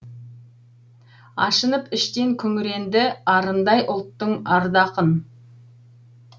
ашынып іштен күңірендіарындай ұлттың арда ақын